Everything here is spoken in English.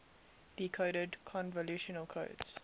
decoded convolutional codes